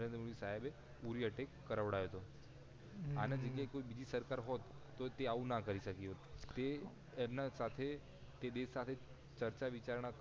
મોદી સાહેબે ઉરી attack કરાવડાયો તો એના બદલે કોઈ બીજી સરકાર હોત તો તે આવું ના કરી શકી હોત તે એમના સાથે તે દેશ સાથે ચર્ચા વિચારણા